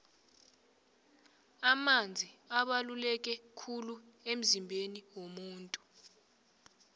amanzi abaluleke khulu emzimbeni womuntu